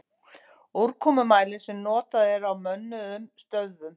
Úrkomumælir sem notaður er á mönnuðum stöðvum.